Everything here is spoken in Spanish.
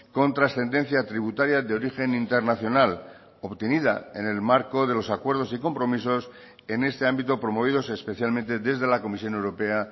con trascendencia tributaria de origen internacional obtenida en el marco de los acuerdos y compromisos en este ámbito promovidos especialmente desde la comisión europea